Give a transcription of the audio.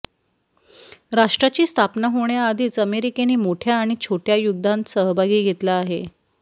राष्ट्राची स्थापना होण्याआधीच अमेरिकेने मोठ्या आणि छोट्या युद्धांत सहभाग घेतला आहे